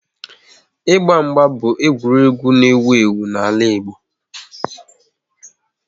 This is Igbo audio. Ịgba mgba bụ egwuregwu n'ewu ewu n'ala Igbo